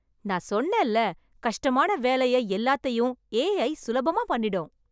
நான் சொன்னேன்ல, கஷ்டமான வேலைய எல்லாத்தையும் ஏ ஐ சுலபமா பண்ணிடும்.